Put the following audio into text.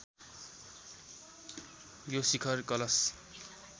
यो शिखर कलश